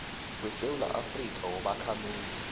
wesewula afrika wobakhamuzi